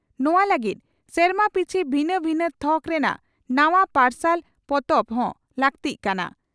ᱱᱚᱣᱟ ᱞᱟᱹᱜᱤᱫ ᱥᱮᱨᱢᱟ ᱯᱤᱪᱷᱤ ᱵᱷᱤᱱᱟᱹ ᱵᱷᱤᱱᱟᱹ ᱛᱷᱚᱠ ᱨᱮᱱᱟᱜ ᱱᱟᱣᱟ ᱯᱟᱨᱥᱟᱞ ᱯᱚᱛᱚᱵ ᱦᱚᱸ ᱞᱟᱹᱠᱛᱤᱜ ᱠᱟᱱᱟ ᱾